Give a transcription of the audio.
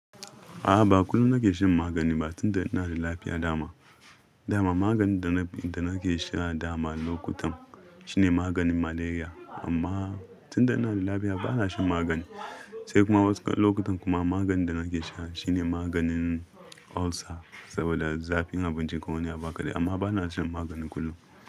A'a, ba kullum na ke shan magani ba tunda ina da lafiya dama. Dama maganin da na ke sha dama lokutan shine maganin Malaria. Amma tunda ina da lafiya bana shan magani. Sai kuma wasu lokutan kuma maganin da na ke sha shine maganin Ulcer saboda zafin abinci ko wani abu kaɗai. Amma bana shan magani kullum.